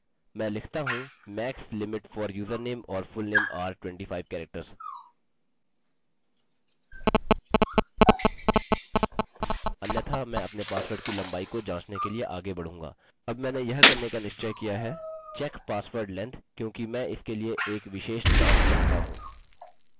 मैं लिखता हूँ यदि मेरे पासवर्ड की स्ट्रिंग लम्बाई 25 से अधिक है या स्ट्रिंग लेंथ